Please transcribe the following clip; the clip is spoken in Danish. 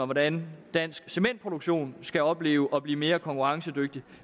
hvordan dansk cementproduktion skal opleve at blive mere konkurrencedygtig